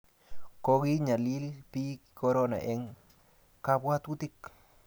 kokonyalil piik korona eng' kabwatutiik